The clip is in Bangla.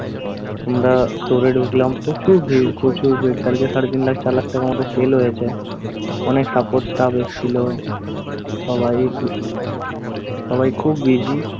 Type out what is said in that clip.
আমরা store এ ঢুকলাম। প্রচুর ভীড় প্রচুর ভীড়। তারপর সাড়ে তিন লাখ চার লাখ টাকার মতো sale হয়েছে। অনেক support staff এসেছিল। সবাই একটু সবাই খুব busy ।